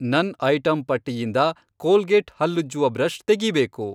ನನ್ ಐಟಂ ಪಟ್ಟಿಯಿಂದ ಕೋಲ್ಗೇಟ್ ಹಲ್ಲುಜ್ಜುವ ಬ್ರಷ್ ತೆಗೀಬೇಕು.